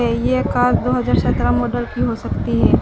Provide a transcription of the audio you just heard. ये कार दो हजार सत्रह मॉडल की हो सकती है।